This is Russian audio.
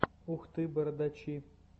ух ты бородачи